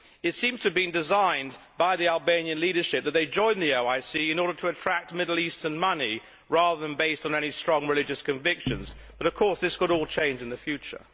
It seems to have been designed by the Albanian leadership that they join the OIC in order to attract Middle Eastern money, rather than based on any strong religious convictions, but, of course, this could all change in the future.